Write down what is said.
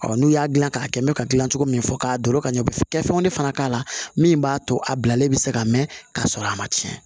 n'u y'a dilan k'a kɛ mɛ ka gilan cogo min min fɔ k'a do loro ka ɲɛ kɛ fɛnw de fana k'a la min b'a to a bilalen bɛ se ka mɛn ka sɔrɔ a ma tiɲɛ